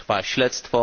Trwa śledztwo.